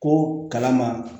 Ko kala ma